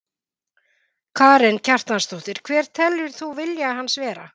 Karen Kjartansdóttir: Hver telur þú vilja hans vera?